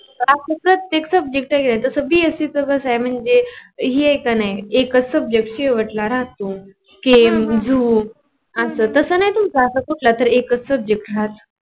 आपल प्रतेक subject वेगळ आहे. जस BSC कस आहे म्हणजे एकच subject शेवटला राहतो केम झू असं तस नाही तुमचं असं कुठलं तर एक च सब्जेक्ट राहतो